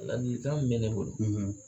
Ladilikan min bɛ ne bolo